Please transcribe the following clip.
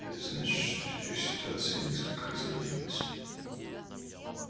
это значит что теперь ситуация несколько изменилась